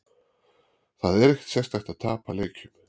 Það er ekkert sérstakt að tapa leikjum.